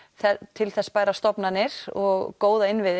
til þess bærar stofnanir og góða innviði